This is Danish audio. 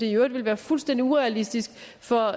i øvrigt være fuldstændig urealistisk for